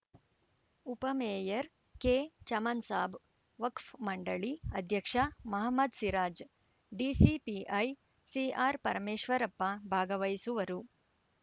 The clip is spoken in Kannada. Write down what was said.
ಉಪ ಮೇಯರ್‌ ಕೆಚಮನ್‌ ಸಾಬ್‌ ವಕ್ಫ್ ಮಂಡಳಿ ಅಧ್ಯಕ್ಷ ಮಹಮ್ಮದ್‌ ಸಿರಾಜ್‌ ಡಿಸಿಪಿಐ ಸಿಆರ್‌ಪರಮೇಶ್ವರಪ್ಪ ಭಾಗವಹಿಸುವರು